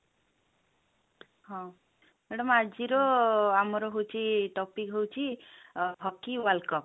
ହଁ madam ଆଜି ର ଆମର ହଉଛି topic ହଉଛି ଅ hockey world cup